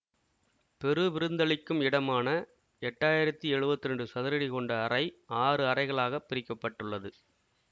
பெருவிருந்தளிக்கும் இடமான எட்டாயிரத்தி எழுவத்தி இரண்டு சதுர அடி கொண்ட அறை ஆறு அறைகளாகப் பிரிக்க பட்டுள்ளது